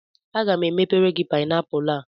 Aga m ebere gị paịnapụlụ a.